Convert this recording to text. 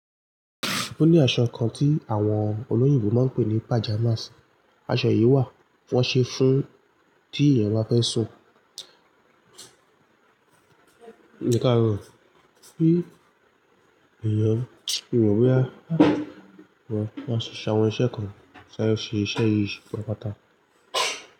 O ní asọ kan tí àwọn olóyìnbó máa pè ní pajamas, aṣọ yìí wà, wọn ṣe fún tí èyàn bá fẹ́ sùn. Ekaarọ, bí èèyàn, mo mọ̀ bo ya máa ṣiṣẹ́ àwọn iṣẹ́ kan, ki n sáré ṣe iṣẹ́ yíì ṣe pàtàpata.